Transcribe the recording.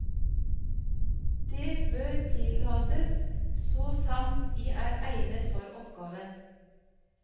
Det bør tillates, så sant de er egnet for oppgaven.